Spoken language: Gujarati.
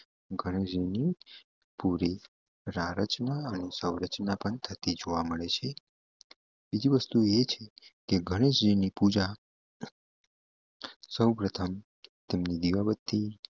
ગણેશજીની પૂરી પ્રાર્થના અને સંરચના પણ થતી જોવા મળે છે બીજી વસ્તુ એ છે કે ગણેશજીની પૂજા સૌપ્રથમ તેમની દિવાબત્તી